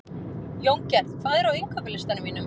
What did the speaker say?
Jóngerð, hvað er á innkaupalistanum mínum?